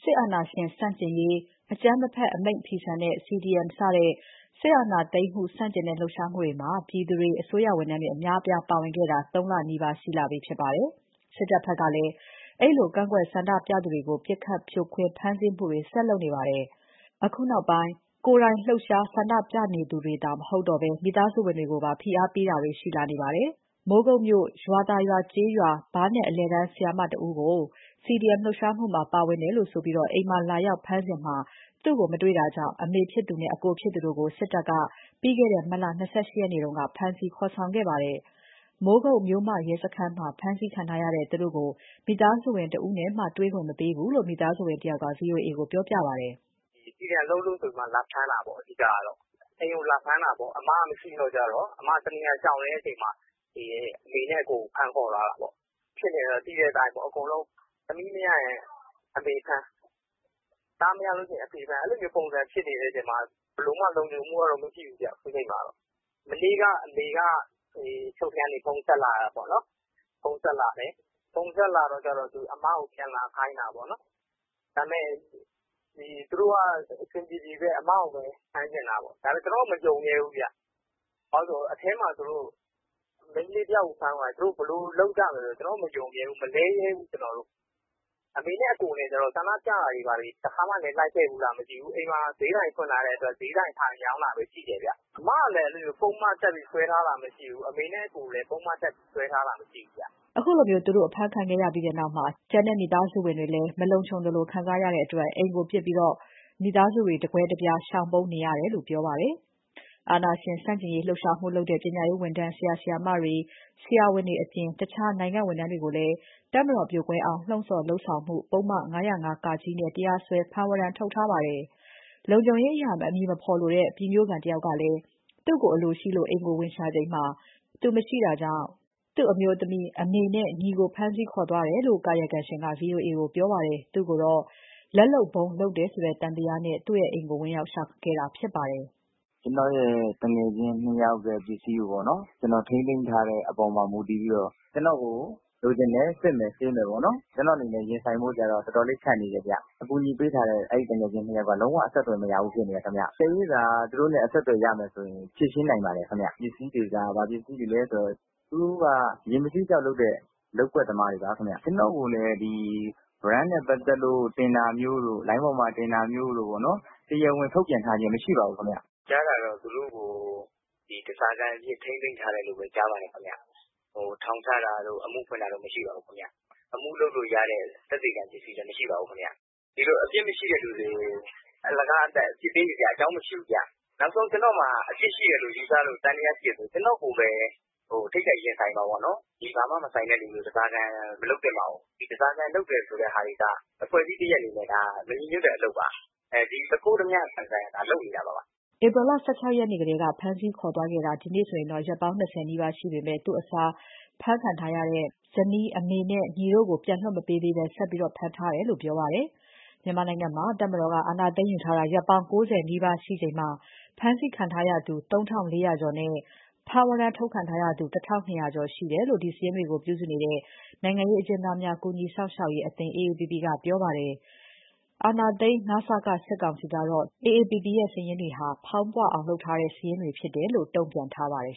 စစ်အာဏာရှင် ဆန့်ကျင်ရေး၊ အကြမ်းမဖက် အမိန့်ဖီဆန်ရေး CDM စတဲ့ စစ်အာဏာသိမ်းမှု ဆန့်ကျင်တဲ့ လှုပ်ရှားမှုတွေမှာ ပြည်သူတွေ၊ အစိုးရဝန်ထမ်းတွေ အများအပြား ပါဝင်ခဲ့ကြတာ ၃ လနီးပါး ရှိလာပြီဖြစ်ပါတယ်။ စစ်တပ်ဘက်ကလည်း အဲဒီလို ကန့်ကွက်ဆန္ဒပြသူတွေကို ပစ်ခတ် ဖြိုခွင်း ဖမ်းဆီးမှုတွေ ဆက်လုပ်နေပါတယ်။ အခုနောက်ပိုင်း ကိုယ်တိုင်လှုပ်ရှားဆန္ဒပြသူတွေသာ မဟုတ်တော့ဘဲ မိသားစုဝင်တွေကိုပါ ဖိအားပေးတာတွေ လုပ်လာတာတွေ ရှိလာပါတယ်။ မိုးကုတ်မြို့ ရွာသာရွာကျေးရွာ ဘားနက် အလယ်တန်းဆရာမတဦးကို CDM ပါဝင်လှုပ်ရှားမှုမှာ ပါလို့ဆိုပြီး အိမ်မှာလာရောက် ဖမ်းဆီးစဉ် သူ့ကို မတွေ့တာကြောင့် အမေဖြစ်သူနဲ့ အကိုဖြစ်သူတို့ကို စစ်တပ်က ပြီးခဲ့တဲ့ မတ်လ ၂၈ ရက်နေ့က ဖမ်းဆီးခေါ်ဆောင်သွားခဲ့ပါတယ်။ မိုးကုတ် မြို့မရဲ့စခန်းမှာ ဖမ်းဆီးခံထားရတဲ့သူတို့ကို မိသားစုဝင် တဦးနဲ့မှ ပေးမတေ့ွဘူးလို့ မိသားစုဝင် တဦးက ဗွီအိုအေကိုပြောပါတယ်။ "CDM လုပ်လို့ဆိုပြီး လာဖမ်းတာပေါ့အဓိကကတော့။ အိမ်ကိုလာဖမ်းတာပေါ့။ အမကမရှိတော့ အမကရှောင်နေတော့ လာဖမ်း ချိန်မတွေ့လို့ အမေနဲ့ အကိုကို လာဖမ်းသွားတာပေါ့။ ဖြစ်နေတာသိတဲ့အတိုင်း သမီးမရရင် အမေဖမ်း၊ သားမရရင် အဖေဖမ်း အဲဒီလိုဖြစ်နေချိန်မှာ ဘယ်လိုမှတော့ လုံခြုံမှုကတော့ မရှိဘူးဗျ ခုချိန်မှာ။ မနေ့ကအမေက အချုပ်ကနေ ဖုန်းဆက်တယ်။ အမကိုပြန်လာခိုင်းတယ်။ ဒါပေမဲ့ သူတို့က အဆင်ပြေပြေပဲ အမကို ဖမ်းချင်တာ။ ကျနော်တို့ကတော့ မယုံရဲဘူး။ အထဲမှာ မိန်းကလေးတယောက်ကို ဘယ်လိုလုပ်ရမလဲ။ ကျနော်က မယုံရဲဘူး၊ မလဲရဲဘူး။ အမေနဲ့ အကိုက ဆန္ဒပြတာလည်းမရှိဘူး။ အိမ်မှာဈေးဆိုင်မှာ ထိုင်ရောင်းတာပဲ ရှိတယ်။ အမကလည်း ပုဒ်မတပ်ပြီး စွဲထားတာမရှိဘူး။ အမေနဲ့ အကိုကိုလည်း ပုဒ်မတပ် စွဲထားတာမရှိဘူး။" ခုလို သူတို့ အဖမ်းခံခဲ့ရပြီးနောက် ကျန်မိသားစုဝင်တွေမှာလည်း မလုံခြုံသလို ခံစားရတဲ့အတွက် အိမ်ကို ပစ်ကာ မိသားစုဝင်တွေ တကွဲတပြား ရှောင်ပုန်းနေရတယ်လို့ ပြောပါတယ်။ အာဏာရှင်ဆန့်ကျင်ရေး လှုပ်ရှားမှုလုပ်တဲ့ ပညာရေးဝန်ထမ်း ဆရာ၊ ဆရာမတွေ၊ ဆရာဝန်တွေအပြင် တခြားနိုင်ငံဝန်ထမ်းတွေကိုလည်း တပ်မတော်ပြိုကွဲအောင် လှုံ့ဆော် လုပ်ဆောင်မှု ပုဒ်မ ၅၀၅-က နဲ့ တရားစွဲ ဖမ်းဝရမ်းထုတ်ထားပါတယ်။ လုံခြုံရေးအရ အမည်မဖော်လိုတဲ့ ပြည်မြို့ခံတဦးကလည်း သူ့ကို အလိုရှိလို့ အိမ်ကို ဝင်ရှာချိန် သူရှိ မနေတာကြောင့် သူ့အမျိုးသမီး၊ အမေနဲ့ ညီကို ဖမ်းခေါ် သွားခဲ့တယ်လို့ ကာယကံရှင်က ဗွီအိုအေကိုပြောပါတယ်။ သူ့ကိုတော့ လက်လုပ်ဗုံး လုပ်တယ်ဆိုတဲ့ သံသယနဲ့ သူ့အိမ်ကိုဝင်ရောက်ရှာခဲ့တာဖြစ်ပါတယ်။ "ကျနော်ရဲ့ သူငယ်ချင်း နှစ်ယောက်ရဲ့ပစ္စည်းကို ကျနော် ထိန်းသိမ်းထားတဲ့အပေါ်မှာ မူတည်ပြီးတော့ ကျနော်ကို လိုချင်တယ်။ စစ်မယ်၊ ဆေးမယ်။ ကျနော်အနေနဲ့ ရင်ဆိုင်ဖို့က တော်တော်လေး ခက်နေတယ်။ အကူညီပေးထားတဲ့ အဲဒီ သူငယ်ချင်းနှစ်ယောက်က အဆက်သွယ်မရဘူး ဖြစ်နေတယ်ခင်ဗျ။ သူတို့နဲ့ အဆက်အသွယ်ရမယ်ဆိုရင် ဖြေရှင်းနိုင်ပါတယ်ခင်ဗျ။ ဘာပစ္စည်းလဲဆိုတော့ သူတို့တွေက ရေမဆေးကျောက် လုပ်တဲ့ လုပ်ကွက်သမားတွေပါခင်ဗျ။ ကျနော့်ကိုလည်း ဝရမ်းနဲ့ ပက်သတ်လို့ တင်တာမျိုးတို့၊ လိုင်းပေါ်မှာ တင်တာမျိုးတို့ တရားဝင်ထုတ်ပြန်ထားခြင်းမရှိပါဘူး ခင်ဗျ။ ကျနော်ကြားတာကတော့ သူတို့ကို ဓားစာခံအဖြစ် ထိန်းသိမ်းထားတယ်လို့ ကြားပါတယ်။ ထောင်ချတာတို့၊ အမှုဖွင့်တာတို့ မရှိပါဘူး။ အမှုလုပ်လို့ရတဲ့ သက်သေခံ ပစ္စည်းလည်း မရှိပါဘူး။ ဒီလို အပြစ်မရှိသူတွေကို အလကားသပ်သပ် အပြစ်ပေးနေစရာအကြောင်းမရှိဘူး။ နောက်ဆုံး ကျနော်မှာ အပြစ်ရှိတယ်လို့ ယူဆလို့ သံသယရှိတယ်ဆို ကျနော်ကိုပဲ ထိပ်တိုက်ရင်ဆိုင်ပါ။ ဒီဘာမှမဆိုင်သူတွေကို ဓားစာခံ မလုပ်သင့်ပါဘူး။ ဓားစာခံ လုပ်တာကအဖွဲ့တခုအနေနဲ့ မညီညွှတ်တဲ့ အလုပ်ပါ။ သူခိုး၊ ဓါးပြပုံစံ လုပ်နေတာပါ။" ဧပြီ ၁၆ ရက်ကတည်းက ဖမ်းဆီးခေါ်ဆောင်သွားခဲ့တာ ဒီနေ့နဲ့ဆို ရက်ပေါင်း ၂၀ နီးပါးရှိနေပေမဲ့ သူ့အစား ဖမ်းခံထားရတဲ့ မိန်းမ၊ အမေနဲ့ ညီတို့ကို ပြန်မလွှတ်ပေးသေးဘဲ ဆက်ဖမ်းထားတယ်လို့ပြောပါတယ်။ မြန်မာနိုင်ငံမှာ တပ်မတော်က အာဏာသိမ်းယူထားတာ ရက်ပေါင်း ၉၀ နီးပါးရှိချိန်မှာ ဖမ်းဆီးခံထားရသူ ၃,၄၀၀ ကျော်နဲ့ ဖမ်းဝရမ်း ထုတ်ခံထားရသူ ၁,၂၀၀ ကျော်ရှိတယ်လို့ ဒီစာရင်းတွေကို ပြုစုနေတဲ့ နိုင်ငံရေးအကျဉ်းသားများ ကူညီရေးအသင်း AAPP ကပြောပါတယ်။ အာဏာသိမ်း န.စ.က စစ်ကောင်စီကတော့ ဒီစာရင်းတွေဟာ ဖောင်းပွအောင်လုပ်ထားတဲ့ စာရင်းဖြစ်တယ်လို့ တုံ့ပြန်ထားပါတယ်